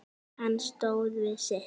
Hann stóð við sitt.